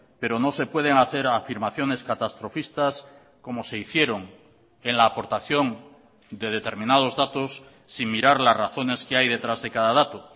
pero no se pueden hacer afirmaciones catastrofistas como se hicieron en la aportación de determinados datos sin mirar las razones que hay detrás de cada dato